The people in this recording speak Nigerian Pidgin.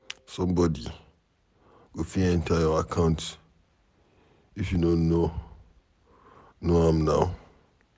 Somebody go fit enter your account, if you no know ,know am now.